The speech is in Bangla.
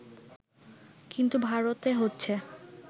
কিন্তু ভারতে হচ্ছে